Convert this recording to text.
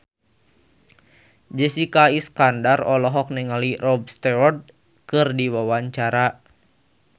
Jessica Iskandar olohok ningali Rod Stewart keur diwawancara